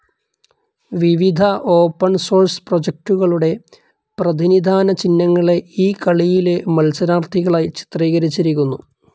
വിവിധ open source പ്രോജക്ടുകളുടെ പ്രതിനിധാന ചിഹ്നങ്ങളെ ഈ കളിയിലെ മത്സരാർത്ഥികളായി ചിത്രീകരിച്ചിരിക്കുന്നു.